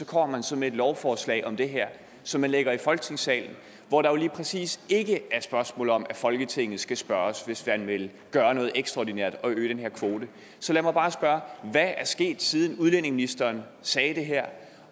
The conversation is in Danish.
kommer man så med et lovforslag om det her som man lægger i folketingssalen hvor der jo lige præcis ikke er spørgsmål om at folketinget skal spørges hvis man vil gøre noget ekstraordinært og øge den her kvote så lad mig bare spørge hvad er sket siden udlændingeministeren sagde det her